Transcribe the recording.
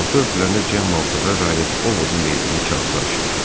Qapı örtüləndə Cemma otağa qayıdıb Ovodun verdiyi kağızı açdı.